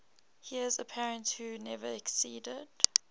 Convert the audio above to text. heirs apparent who never acceded